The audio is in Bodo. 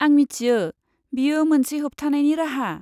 आं मिथियो, बेयो मोनसे होबथानायनि राहा।